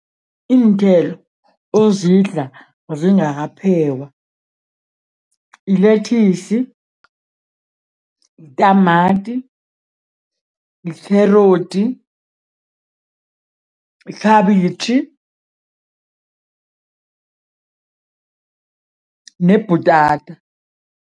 Iinthelo ozidla zingakaphekwa, yilethisi, yitamati, yi-carrot, yikhabitjhi nebhutata.